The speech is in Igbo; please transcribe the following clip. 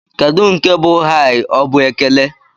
Kedụ nke bụ "Hai?" Ọ bụ ekele?